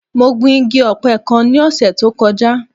Mo gbin igi ọ̀pẹ kan ní ọ̀sẹ̀ tó kọjá.